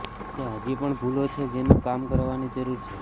ત્યાં હજી પણ ભૂલો છે જેનું કામ કરવાની જરૂર છે